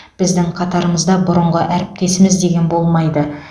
біздің қатарымызда бұрынғы әріптесіміз деген болмайды